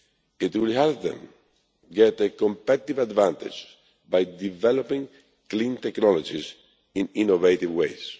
It will help them to get a competitive advantage by developing clean technologies in innovative